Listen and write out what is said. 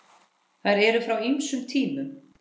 Þær eru frá ýmsum tímum.